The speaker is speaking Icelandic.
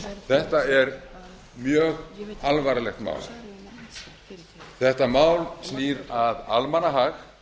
þetta er mjög alvarlegt mál þetta mál snýr að almannahag